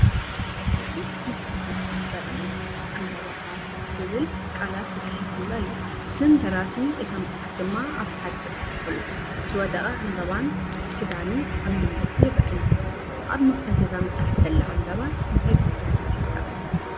እዚ መኽፈቲ መጽሓፍ ዘርኢ እዩ። "ዕምባባ ኣፍ" ዝብል ቃላት ተጻሒፉሉ ኣሎ፡ ስም ደራሲ እታ መጽሓፍ ድማ ኣብ ታሕቲ ተጻሒፉ ኣሎ። ዝወደቐ ዕምባባን ክዳንን ኣብ መንገዲ ይረአ ኣሎ። ኣብ መኽፈቲ እዛ መጽሓፍ ዘላ ዕምባባ እንታይ ትውክል ትመስለካ?